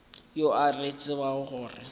yo a re tsebišago gore